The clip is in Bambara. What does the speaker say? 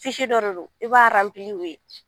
dɔ de don i b'a u ye